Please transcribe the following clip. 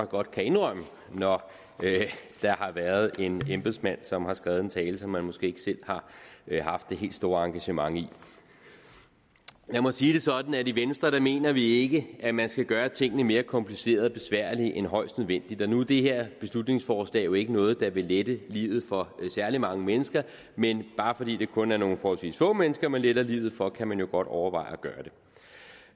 godt kan indrømme når der har været en embedsmand som har skrevet en tale som man måske ikke selv haft det helt store engagement i lad mig sige det sådan at i venstre mener vi ikke at man skal gøre tingene mere komplicerede og besværlige end højst nødvendigt og nu er det her beslutningsforslag jo ikke noget der vil lette livet for særlig mange mennesker men bare fordi det kun er nogle forholdsvis få mennesker man letter livet for kan man jo godt overveje